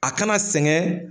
A kana sɛgɛn.